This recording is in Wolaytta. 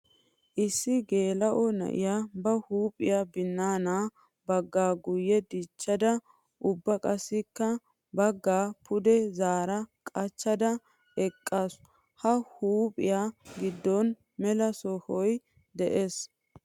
Issi geela'o na'iya ba huuphiya binaana baga guye dichchadda ubba qassikka baga pude zaara qachchadda eqqaasu. Ha huuphiyan giddon mela sohoy de'ees.